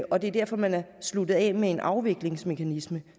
og det er derfor man er sluttet af med en afviklingsmekanisme